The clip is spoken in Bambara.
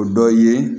O dɔ ye